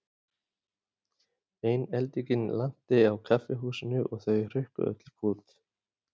Ein eldingin lanti á kaffihúsinu og þau hrukku öll í kút.